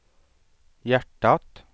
hjärtat